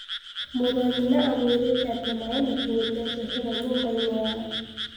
Mũrũ wa nyina amũĩrĩte atĩ maĩ makinyĩtĩ njohero nyũmbaine yao